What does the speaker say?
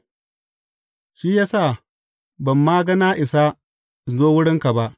Shi ya sa ban ma ga na isa in zo wurinka ba.